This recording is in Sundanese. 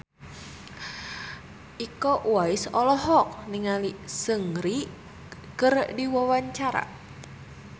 Iko Uwais olohok ningali Seungri keur diwawancara